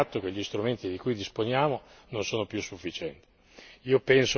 Ma dobbiamo prendere atto che gli strumenti di cui disponiamo non sono più sufficienti.